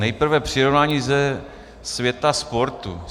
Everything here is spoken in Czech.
Nejprve přirovnání ze světa sportu.